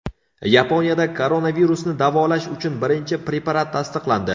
Yaponiyada koronavirusni davolash uchun birinchi preparat tasdiqlandi.